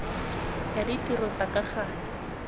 ya ditiro tsa ka gale